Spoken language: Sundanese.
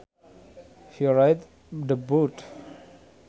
He righted the boat